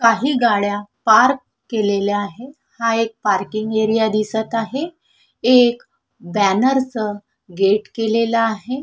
काही गाड्या पार्क केलेल्या आहेत हा एक पार्किंग एरिया दिसत आहे एक बॅनरच गेट केलेलं आहे.